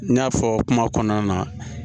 N y'a fɔ kuma kɔnɔna na